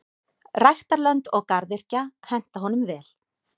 Ræktarlönd og garðyrkja henta honum vel.